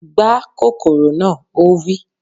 Gbá kòkòrò na! Ó wí